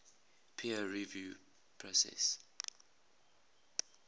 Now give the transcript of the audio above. peer review process